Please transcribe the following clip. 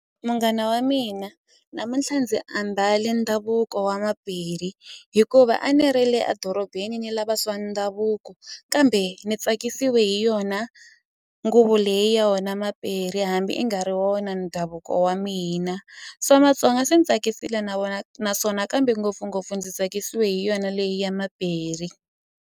Munghana wa mina namuntlha ndzi ambale ndhavuko wa Mapedi hikuva a ni ri le a dorobeni ni lava swa ndhavuko kambe ni tsakisiwe hi yona nguvu leyi yona Mapedi hambi i nga ri wona ndhavuko wa mina swa Matsonga swi ni tsakisile na wona naswona kambe ngopfungopfu ndzi tsakisiwe hi yona leyi ya .